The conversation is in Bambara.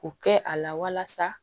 O kɛ a la walasa